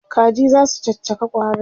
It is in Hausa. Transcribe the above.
Kaji zasu caccaka ƙwarin?